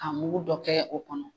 a mugu dɔ kɛ o kɔnɔ.